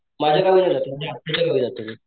माझ्या गावी नाही जात माझ्या आत्याच्या गावी जातो मी.